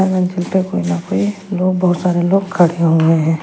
लोग बहुत सारे लोग खड़े हुए हैं।